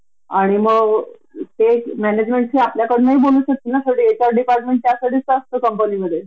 अगदी खर, अगदी खर आणि आम्ही छोटी छोटी रिक्वेस्ट केली की एक डे केअर तुम्ही बिल्डिंग मध्ये च करा